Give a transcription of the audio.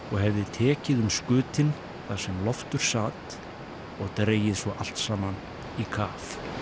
og hefði tekið um skutinn þar sem Loftur sat og dregið svo allt saman í kaf